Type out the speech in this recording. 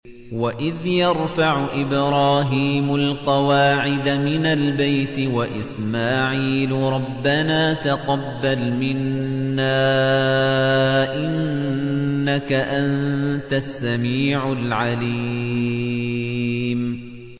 وَإِذْ يَرْفَعُ إِبْرَاهِيمُ الْقَوَاعِدَ مِنَ الْبَيْتِ وَإِسْمَاعِيلُ رَبَّنَا تَقَبَّلْ مِنَّا ۖ إِنَّكَ أَنتَ السَّمِيعُ الْعَلِيمُ